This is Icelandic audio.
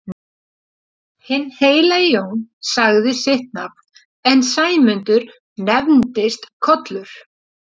Hinn heilagi Jón sagði sitt nafn en Sæmundur nefndist Kollur.